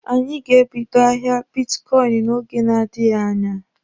Anyị ga-ebido ahịa bitkọịnị n'oge na-adịghi anya.